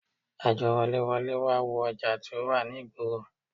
Àjọ woléwolé wá wo ọjà tí ó wà ní ìgboro